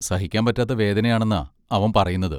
സഹിക്കാൻ പറ്റാത്ത വേദനയാണെന്നാ അവൻ പറയുന്നത്.